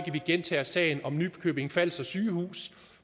ikke gentager sagen om nykøbing falster sygehus